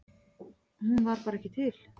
Hún var bara ekki til.